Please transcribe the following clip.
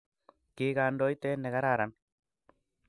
kikandoiten nekararan